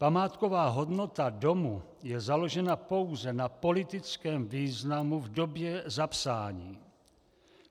Památková hodnota domu je založena pouze na politickém významu v době zapsání.